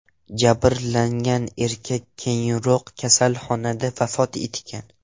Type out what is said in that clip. Jabrlangan erkak keyinroq kasalxonada vafot etgan.